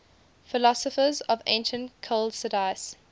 philosophers of ancient chalcidice